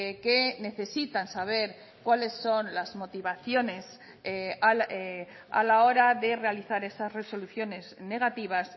que necesitan saber cuáles son las motivaciones a la hora de realizar esas resoluciones negativas